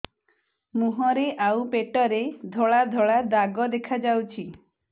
ମୁହଁରେ ଆଉ ପେଟରେ ଧଳା ଧଳା ଦାଗ ଦେଖାଯାଉଛି